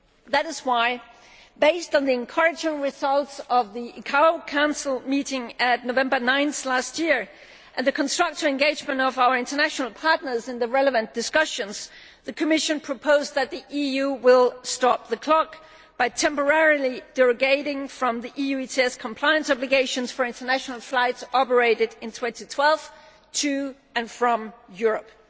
That is why, based on the encouraging results of the ICAO Council meeting of 9 November 2012 and the constructive engagement of our international partners in the relevant discussions, the Commission proposed that the EU stop the clock' by temporarily derogating from the EU ETS compliance obligations for international flights operated in 2012 to and from Europe.